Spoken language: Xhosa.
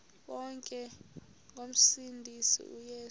bonke ngomsindisi uyesu